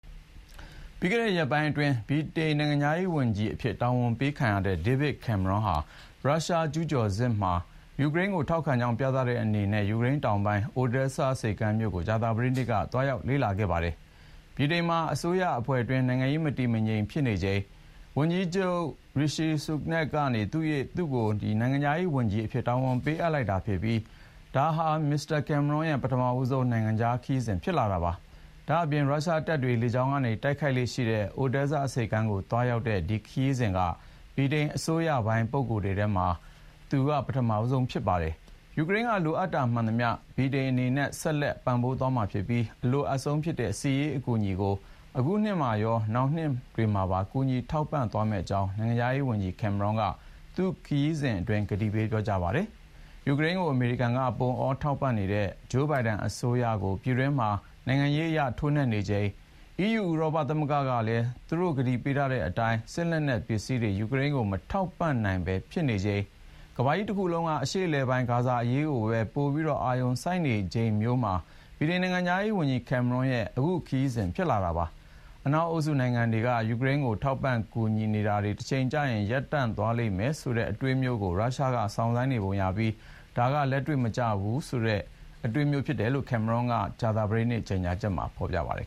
ပြီးခဲ့တဲ့ရက်ပိုင်းအတွင်း ဗြိတိန်နိုင်ငံခြားရေးဝန်ကြီးအဖြစ် တာဝန်ပေးခံရတဲ့ David Cameron ဟာ ရုရှားကျူးကျော်စစ်မှာ ယူကရိန်းကိုထောက်ခံကြောင်း ပြသတဲ့အနေနဲ့ ယူကရိန်းတောင်ပိုင်း Odesa ဆိပ်ကမ်းမြို့ကို ကြာသပတေးနေ့က သွားရောက် လေ့လာခဲ့ပါတယ်။ ဗြိတိန်မှာ အစိုးရအဖွဲ့တွင်း နိုင်ငံရေးမတည်မငြိမ်ဖြစ်နေချိန် ဝန်ကြီးချုပ် Rishi Sunak က သူ့ကို နိုင်ငံခြားရေးဝန်ကြီးအဖြစ် တာဝန်ပေးအပ်လိုက်ပြီးနောက် ဒါဟာ မစ္စတာ Cameron ရဲ့ ပထမဆုံး နိုင်ငံခြားခရီးစဥ် ဖြစ်လာတာပါ။ ဒါ့အပြင် ရုရှားတပ်တွေ လေကြောင်းက တိုက်ခိုက်လေ့ရှိတဲ့ Odesa ဆိပ်ကမ်းကို သွားရောက်တဲ့ ဒီခရီးစဥ်က ဗြိတိန် အစိုးရပိုင်းပုဂ္ဂိုလ်တွေထဲမှာ သူက ပထမဆုံး ဖြစ်ပါတယ်။ ယူကရိန်းက လိုအပ်တာမှန်သမျှ ဗြိတိန်အနေနဲ့ ဆက်လက် ပံ့ပိုးသွားမှာဖြစ်ပြီး အလိုအပ်ဆုံးဖြစ်တဲ့ စစ်ရေးအကူအညီကို ခုနှစ်မှာရော နောင်မှာပါ ကူညီထောက်ပံ့သွားမယ့်အကြောင်း နိုင်ငံြခားရေးဝန်ကြီး Cameron က သူ့ခရီးစဥ်အတွင်း ကတိပေး ပြောကြားပါတယ်။ ယူကရိန်းကို အမေရိကန်က ပုံအော ထောက်ပံ့နေတဲ့ ဂျိုးဘိုင်ဒန်အစိုးရကို ပြည်တွင်းမှာ နိုင်ငံရေးအရ ထိုးနှက်နေချိန်၊ EU ဥရောပသမဂ္ဂကလည်း သူ့တို့ ကတိပေးထားတဲ့အတိုင်း စစ်လက်နက်ပစ္စည်းတွေ ယူကရိန်းကို မထောက်ပံ့နိုင်ပဲ ဖြစ်နေချိန်၊ ကမ္ဘာကြီးတခုလုံးက အရှေ့အလယ်ပိုင်း ဂါဇာအရေးကို ပိုပြီး အာရုံစိုက်နေချိန်မျိုးမှာ ဗြိတိန် နိုင်ငံခြားရေးဝန်ကြီး Cameron ရဲ့ ခရီးစဥ် ဖြစ်လာတာပါ။ အနောက်အုပ်စု နိုင်ငံတွေက ယူကရိန်းကို ထောက်ပံ့ကူညီနေတာတွေ တချိန်ကျရင် ရပ်ဆိုင်းသွားမယ့် အချိန်မျိုးကို ရုရှားက စောင့်ဆိုင်းနေပုံရပြီး အဲဒါက ‘လက်တွေ့မကျတဲ့အတွေးမျိုး’ လို့ Cameron ရဲ့ ကြာသပတေးနေ့ ကြေညာချက်မှာ ဖေါ်ပြပါတယ်